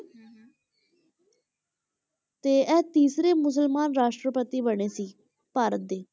ਤੇ ਇਹ ਤੀਸਰੇ ਮੁਸਲਮਾਨ ਰਾਸ਼ਟਰਪਤੀ ਬਣੇ ਸੀ ਭਾਰਤ ਦੇ।